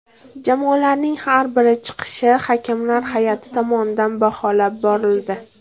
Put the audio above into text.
Jamoalarning har bir chiqishi hakamlar hay’ati tomonidan baholab borildi.